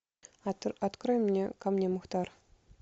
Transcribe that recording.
открой мне ко мне мухтар